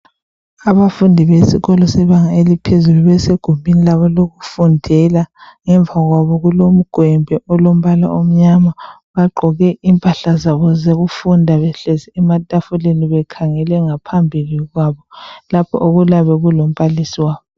Abafundi besikolo sebanga eliphezulu basegumbini labo lokufundela ngemva kwabo kulomgwembe olombala omnyama. Bagqoke impahla zabo zokufunda behlezi ematafuleni bekhangele ngaphambili kwabo lapho okuyabe kulombalisi wabo.